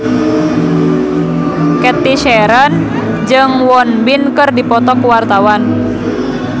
Cathy Sharon jeung Won Bin keur dipoto ku wartawan